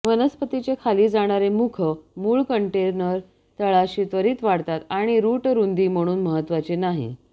वनस्पतीचे खाली जाणारे मुख मुळ कंटेनर तळाशी त्वरीत वाढतात आणि रूट रुंदी म्हणून महत्वाचे नाही